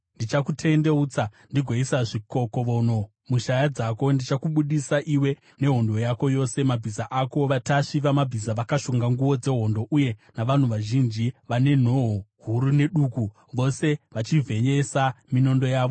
Ndichakutendeutsa, ndigoisa zvikokovono mushaya dzako ndigokubudisa iwe nehondo yako yose, mabhiza ako, vatasvi vamabhiza vakashonga nguo dzehondo, uye navanhu vazhinji vane nhoo huru neduku, vose vachivheyesa minondo yavo.